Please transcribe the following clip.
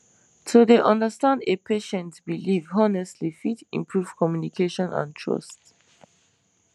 to dey understand a patient belief honestly fit improve communication and trust